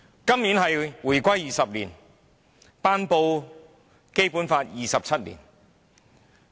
今年是回歸20周年，亦是《基本法》頒布27周年。